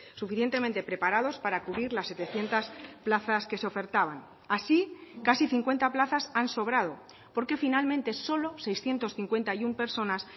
suficientemente preparados para cubrir las setecientos plazas que se ofertaban así casi cincuenta plazas han sobrado porque finalmente solo seiscientos cincuenta y uno personas